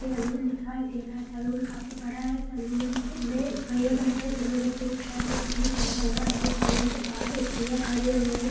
एक सैलून दिखाई दे रहा है सैलून काफी बड़ा है सैलून के में भैया बैठे है जिन्होंने पिंक शर्ट और जींस पेहना हुआ है सैलून के बाहर एक भैया खड़े हुए --